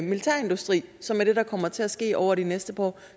militærindustri som er det der kommer til at ske over de næste par år